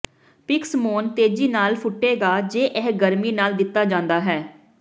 ਪਿਕਸਮੌਨ ਤੇਜ਼ੀ ਨਾਲ ਫੁੱਟੇਗਾ ਜੇ ਇਹ ਗਰਮੀ ਨਾਲ ਦਿੱਤਾ ਜਾਂਦਾ ਹੈ